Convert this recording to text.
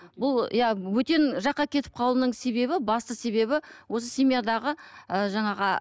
бұл иә бөтен жаққа кетіп қалуының себебі басты себебі осы семьядағы ы жаңағы